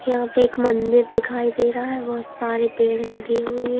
यहां पे एक मंदिर दिखाई दे रहा है बहुत सारे पेड़ लगी हुई है।